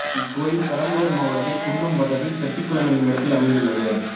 இக்கோயில் பெரம்பலூர் மாவட்டத்தில் குன்னம் வட்டத்தில் செட்டிகுளம் என்னுமிடத்தில் அமைந்துள்ளது